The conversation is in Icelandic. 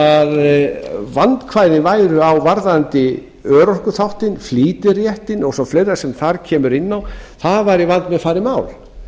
að vandkvæði væru á varðandi örorkuþáttinn flýtiréttinn og fleira sem þar kemur inn í að það væri vandmeðfarið mál